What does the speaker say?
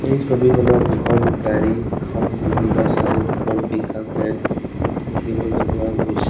এই ছবিখনত দুখন গাড়ী এখন মিনি বাছ আৰু এখন পিকআপ ভেন দেখিবলৈ পোৱা গৈছে।